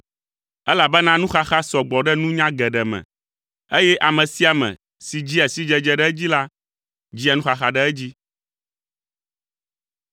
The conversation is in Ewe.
elabena nuxaxa sɔ gbɔ ɖe nunya geɖe me, eye ame sia ame si dzia sidzedze ɖe edzi la, dzia nuxaxa ɖe edzi.